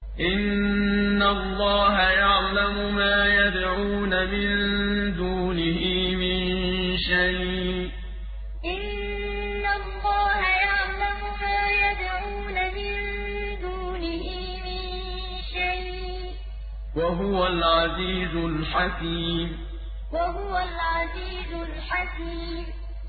إِنَّ اللَّهَ يَعْلَمُ مَا يَدْعُونَ مِن دُونِهِ مِن شَيْءٍ ۚ وَهُوَ الْعَزِيزُ الْحَكِيمُ إِنَّ اللَّهَ يَعْلَمُ مَا يَدْعُونَ مِن دُونِهِ مِن شَيْءٍ ۚ وَهُوَ الْعَزِيزُ الْحَكِيمُ